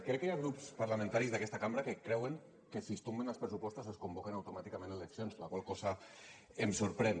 crec que hi ha grups parlamentaris d’aquesta cambra que creuen que si es tomben els pressupostos es convoquen automàticament eleccions la qual cosa em sorprèn